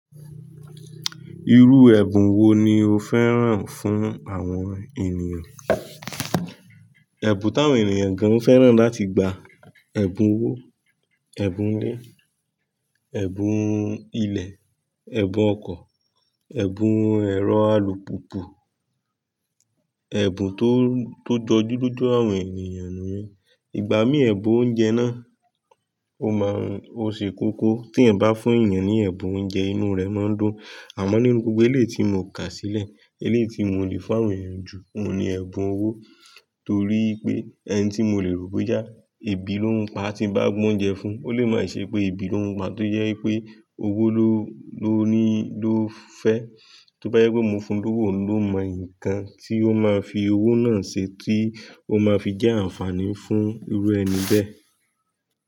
Irú ẹ̀bùn wo ni o féràn fún àwọn ènìyàn? Ẹ̀bùn táwọn ènìyàn gan féràn láti gba, ẹ̀bùn owó, ẹ̀bùn ilé, ẹ̀bùn ilẹ̀, ẹ̀bùn ọkọ̀, ẹ̀bùn ẹ̀rọ alùpùpù, ẹ̀bùn tó, tó dọjú loju àwọn ènìyàn ni. Ìgbà mí ẹ̀bùn oúnjẹ náà ó máa ń, ó ṣe kókó tí ẹ̀eyan bá fún èeyan ní ẹ̀bùn oúnjẹ inú rẹ̀ máa ń dùn. Àmọ́ nínú gbogbo eléyii ti mó kà sílẹ̀ eléyii ti mó lè fún àwọn eeyan jù ohun ni ẹ̀bùn owó torí pé ẹni tí mo lè rò boya, ebi ló ń pa tí n bá gbé oúnjẹ fún un ó lè má ṣe pé ebi ló ń pa tó jẹ wipé owó ló, ló ni ló fẹ́. Tóbá jẹ pé mo fún un lówó oun lo mọ nǹkan tí ó máa fi owó náà ṣe tí ó máa fi jẹ́ àǹfààní fún irú ẹni bẹ́ẹ̀